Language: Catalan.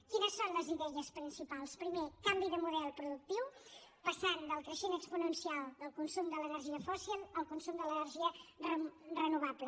quines en són les idees principals primer canvi de model productiu passant del creixement exponencial del consum de l’energia fòssil al consum de l’energia renovable